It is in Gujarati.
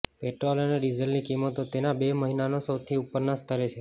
પેટ્રોલ અને ડીઝલની કિંમતો તેના બે મહિનાના સૌથી ઉપરના સ્તરે છે